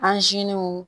Anziniw